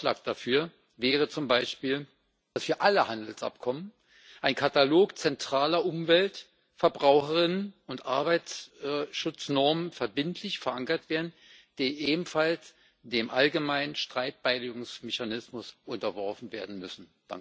Und ein Vorschlag dafür wäre zum Beispiel, dass für alle Handelsabkommen ein Katalog zentraler Umwelt Verbraucher und Arbeitnehmerschutznormen verbindlich verankert wird, die ebenfalls dem allgemeinen Streitbeilegungsmechanismus unterworfen sein müssen.